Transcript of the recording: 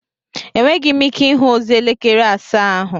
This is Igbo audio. Enweghị m ike ịhụ ozi elekere asaa ahụ